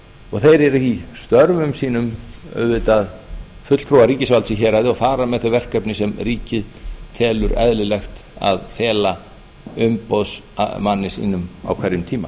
og þeir eru í störfum sínum auðvitað fulltrúar ríkisvaldið að fara með þau verkefni sem ríkið telur eðlilegt að fela umboðsmanni sínum á hverjum tíma